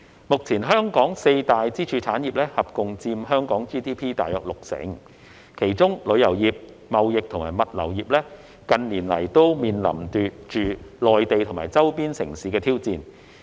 目前香港四大支柱產業合共佔香港 GDP 約六成，其中旅遊業、貿易及物流業近年來均面臨着來自內地或周邊城市的挑戰。